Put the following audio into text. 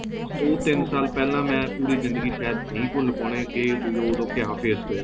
ਉਹ ਤਿੰਨ ਸਾਲ ਪਹਿਲਾਂ ਮੈਂ ਪੂਰੀ ਜ਼ਿੰਦਗੀ ਸ਼ਾਇਦ ਨਹੀਂ ਭੁੱਲ ਪਾਉਣੇ ਕਿ ਉਦੋਂ ਵੀ ਕਿਆ face ਹੋਇਆ